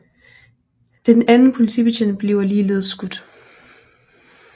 Den anden politibetjent bliver ligeledes skudt